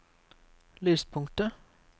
lyspunktet